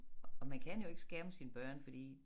Og man kan jo ikke skærme sine børn fordi